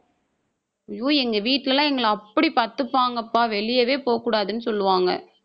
ஐயோ எங்க வீட்டுல எல்லாம் எங்களை அப்படி பார்த்துப்பாங்கப்பா. வெளியவே போகக்கூடாதுன்னு சொல்லுவாங்க